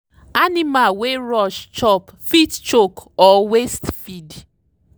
animal wey rush chop fit choke or waste feed.